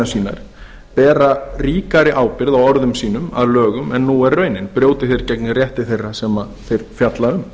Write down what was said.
sínar bera ríkari ábyrgð á orðum sínum að lögum en nú er raunin brjóti þeir gegn rétti þeirra sem þeir fjalla um